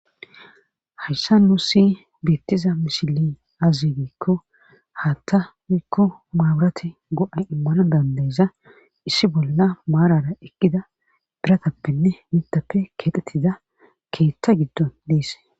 hayssa nuu si biittiza mishili azigikko haatta wuikko maaburati go7a immana dandeyza issi bolla maarara ekkida biratappenne nitappe keedetida keettha giddon deese